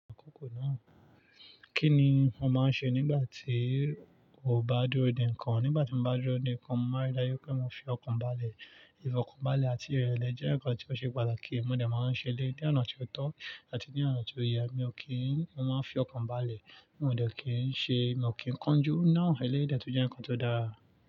Àkókò náà, kí ni mo máa ń ṣe nígbà tí ò bá dúró dé nìkan? Nígbà tí mo bá dúró dé nìkan, mo máa rí dájú pé mo fi ọkàn balẹ̀. Ìfọkànbalẹ̀ àti ìrẹ̀lẹ̀ jẹ́ nǹkan tí ó ṣe pàtàkì, mo dà máa ń ṣe lé. Ni ọ̀nà tó tọ́ àti ní ọ̀nà tó yẹ, mi ò kí n máa fi ọkàn balẹ̀, mi ò ní kí ń ṣe, mi ò kí ń kánjú. Náà eléyìí dẹ̀ tún jẹ́ nǹkan tó dáa.